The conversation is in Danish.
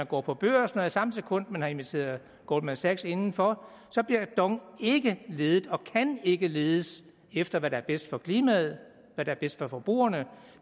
går på børsen og i samme sekund man har inviteret goldman sachs indenfor bliver dong ikke ledet og kan ikke ledes efter hvad der er bedst for klimaet hvad er bedst for forbrugerne